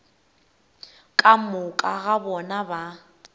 ka moka ga bona ba